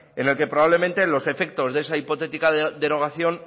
en el que probablemente los efectos de esa hipotética derogación